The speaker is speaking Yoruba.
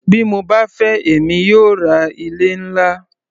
Bí mo bá fẹ́ èmi yóò ra ilé-ńlá.